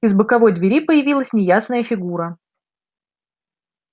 из боковой двери появилась неясная фигура